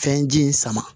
Fɛnji in sama